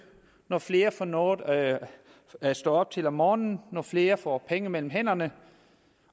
når flere får noget at stå op til om morgenen når flere får penge mellem hænderne